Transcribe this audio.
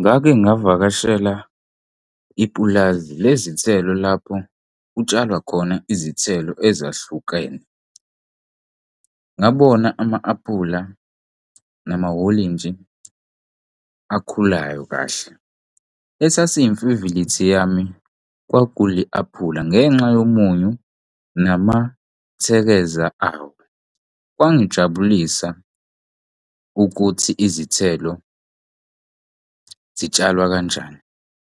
Ngake ngavakashela ipulazi lezithelo lapho kutshalwa khona izithelo ezahlukene. Ngabona ama-apula namawolintshi akhulayo kahle. Esasiyimfivilithi yami kwakuli aphula ngenxa yomunyu namathekeza awo kwangijabulisa ukuthi izithelo zitshalwa kanjani